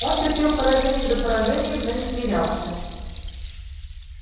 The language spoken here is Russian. он терпел поражение за поражением но не смирялся